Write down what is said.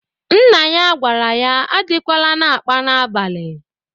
Nna ya gwara ya adịkwala na-akpa n'abalị!